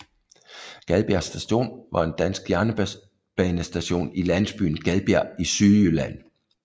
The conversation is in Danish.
Gadbjerg Station var en dansk jernbanestation i landsbyen Gadbjerg i Sydjylland